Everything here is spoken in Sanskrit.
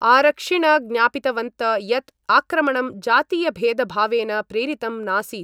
आरक्षिण ज्ञापितवन्त यत् आक्रमणं जातीयभेदभावेन प्रेरितं नासीत्।